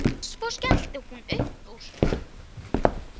Og selur þá.